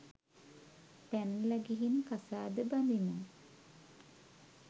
පැනල ගිහින් කසාද බඳිමු